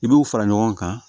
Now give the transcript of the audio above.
I b'u fara ɲɔgɔn kan